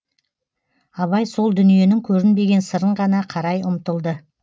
абай сол дүниенің көрінбеген сырын ғана қарай ұмтылды